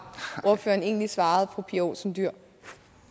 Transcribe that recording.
ordføreren egentlig svarede fru pia olsen dyhr